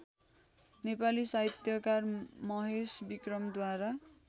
नेपाली साहित्यकार महेशविक्रमद्वारा